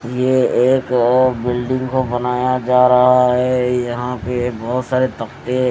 ये एक बिल्डिंग को बनाया जा रहा है यहां पे बहुत सारे तख्ते--